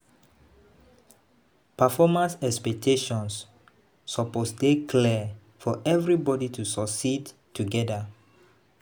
Performance expectations suppose dey clear for everybody to succeed together.